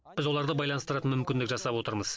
біз оларды байланыстыратын мүмкіндік жасап отырмыз